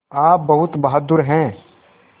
आप बहुत बहादुर हैं